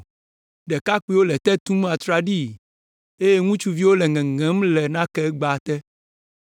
Ɖekakpuiwo le te tum atraɖii, eye ŋutsuviwo le ŋeŋem le nakegba te.